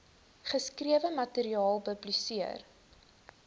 geskrewe materiaal publiseer